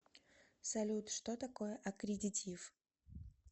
салют что такое аккредитив